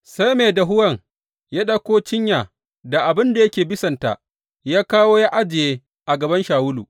Sai mai dahuwan ya ɗauko cinya da abin da yake bisanta ya kawo ya ajiye a gaban Shawulu.